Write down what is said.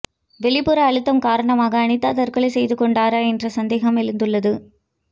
வெளிப்புற அழுத்தம் காரணமாக அனிதா தற்கொலை செய்து கொண்டாரா என்ற சந்தேகம் எழுந்துள்ளது